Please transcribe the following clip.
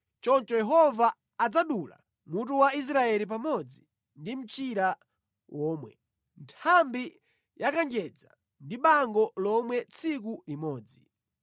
Choncho Yehova adzadula mutu wa Israeli pamodzi ndi mchira womwe, nthambi ya kanjedza ndi bango lomwe tsiku limodzi;